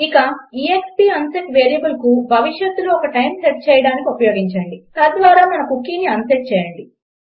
ఇక ëxp unset వేరియబుల్ను భవిష్యత్తులో ఒక టైంకు సెట్ చేయడానికి ఉపయోగించండి తద్వారా మన కుకీని అన్సెట్ చేయండి